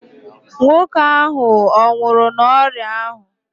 Nwoke ahụ ọ nwụrụ n'ọrịa ahụ?